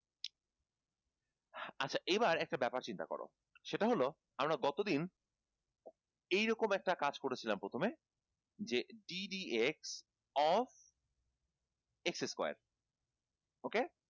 আচ্ছা এইবার একটা ব্যাপার চিন্তা করো সেটা হলো আমরা গতদিন এইরকম একটা কাজ করেছিলাম প্রথমে যে ddx of x square ok